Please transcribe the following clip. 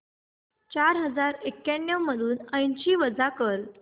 चार हजार एक्याण्णव मधून ऐंशी वजा कर